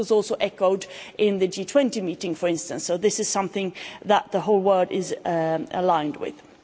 This was also echoed in the G20 meeting, for instance, so this is something that the whole world is aligned on.